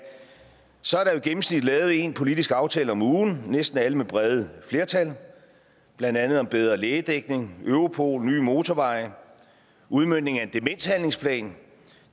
så er der i gennemsnit lavet en politisk aftale om ugen næsten alle med brede flertal blandt andet om bedre lægedækning europol nye motorveje udmøntning af en demenshandlingsplan